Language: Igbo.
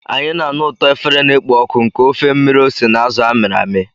Anyị na-anụ ụtọ efere na-ekpo ọkụ nke ofe mmiri ose na azụ a mịrị amị.